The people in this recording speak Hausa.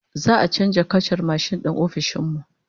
Za'a canza kacar mashin din ofishin mu